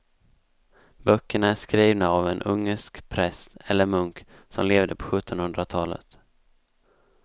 Böckerna är skrivna av en ungersk präst eller munk som levde på sjuttonhundratalet.